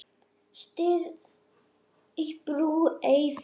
Stirð í brú ei fer.